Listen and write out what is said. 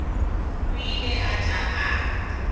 o ile a tla a